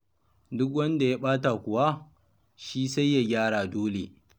Duk wanda ya ɓata kuwa, shi sai ya gyara dole.